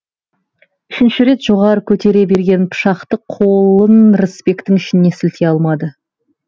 үшінші рет жоғары көтере берген пышақты қолын рысбектің ішіне сілтей алмады